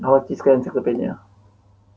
галактическая энциклопедия